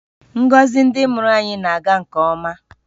Ngọzi ndị mụrụ anyị na-aga nke ọma